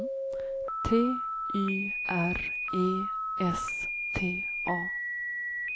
T Y R E S T A